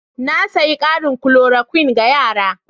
Na sayi ƙarin klorokuwin ga yara.